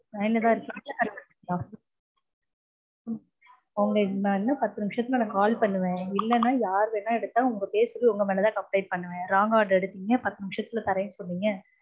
line Latha இருக்கீங்களா cut பண்ணிட்டீங்களா? உங்க நா இன்னும் பத்து நிமிஷத்தில call பண்ணுவேன். இல்லனா யார் வேணுனாலும் உங்களோட பேர் சொல்லி உங்க மேலதா complaint பண்ணுவேன். wrong order எடுத்தீங்க பத்து நிமிஷத்துல தர்ரேனு சொன்னீங்க